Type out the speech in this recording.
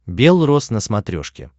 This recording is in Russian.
белрос на смотрешке